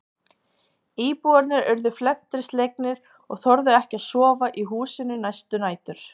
Íbúarnir urðu felmtri slegnir og þorðu ekki að sofa í húsinu næstu nætur.